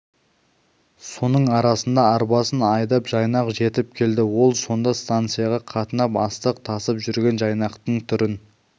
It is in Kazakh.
соның арасында арбасын айдап жайнақ жетіп келді ол сонда станцияға қатынап астық тасып жүрген жайнақтың түрін